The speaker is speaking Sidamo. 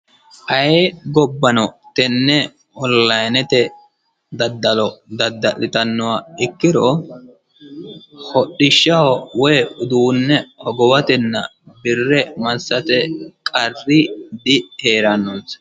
Ayee gobbano tenne onlinete daddalo dadda'litannoha ikkiro hodbishaho woy uduune hogowatna birre massate qarri diheerannonisa.